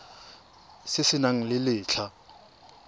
se se nang le letlha